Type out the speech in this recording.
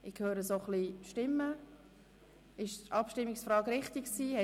Ich höre Unmut im Saal – müssen wir auf die Abstimmung zurückkommen?